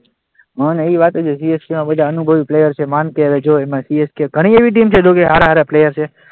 હા એવી વાત છે કે CSK માં બધાં અનુભવી પ્લેયર છે, માન કે જો એમાં CSK ઘણી એવી ટીમ જેમાં સારા સારા પ્લેયર છે.